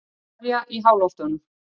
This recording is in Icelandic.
Aría í háloftunum